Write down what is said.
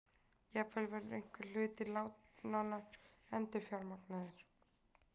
Jafnvel verður einhver hluti lánanna endurfjármagnaður